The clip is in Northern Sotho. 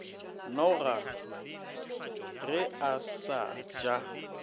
noga ge a sa ja